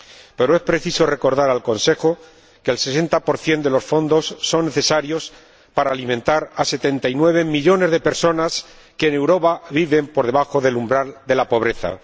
Pero es preciso recordar al Consejo que el 60 de los fondos es necesario para alimentar a 79 millones de personas que en Europa viven por debajo del umbral de la pobreza.